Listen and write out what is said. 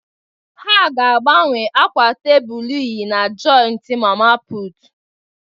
Ha ga-agbanwe akwa tebụl unyi na joịtị mama putụ̀.